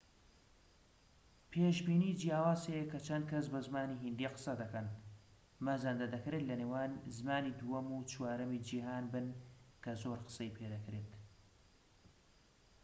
پێشبینی جیاواز هەیە کە چەند کەس بە زمانی هیندی قسە دەکەن مەزەندە دەکرێت لە نێوان زمانی دووەم و چوارەمی جیھان بن کە زۆر قسەی پێدەکرێت